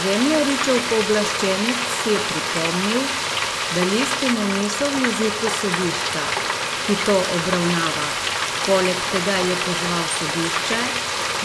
Zemljaričev pooblaščenec je pripomnil, da listine niso v jeziku sodišča, ki to obravnava, poleg tega je pozval sodišče,